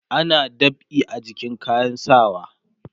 ana dab'i a jikin kayan sawa